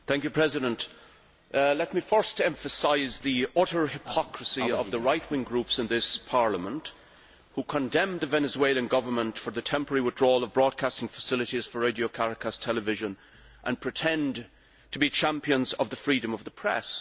Mr President, let me first emphasise the utter hypocrisy of the right wing groups in this Parliament which condemned the Venezuelan government for the temporary withdrawal of broadcasting facilities for Radio Caracas Television and pretend to be champions of the freedom of the press.